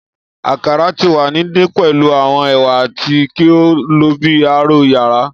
Akara ti wa ni ndin pẹlu awọn ewa ati ki o lo bi aro yara